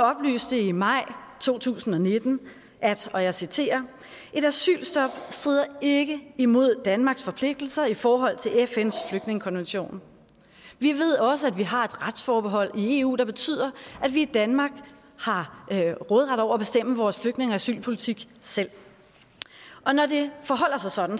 oplyste i maj to tusind og nitten at og jeg citerer et asylstop strider ikke imod danmarks forpligtelser i forhold til fns flygtningekonvention vi ved også at vi har et retsforhold i eu der betyder at vi i danmark har råderet over og bestemmer vores flygtninge og asylpolitik selv når det forholder sig sådan